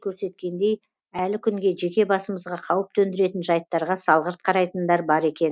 көрсеткендей әлі күнге жеке басымызға қауіп төндіретін жайттарға салғырт қарайтындар бар екен